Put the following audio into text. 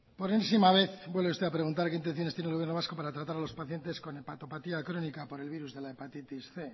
por enésima vez vuelve usted a preguntar qué intenciones tiene el gobierno vasco para tratar a los pacientes con hepatopatía crónica por el virus de la hepatitis cien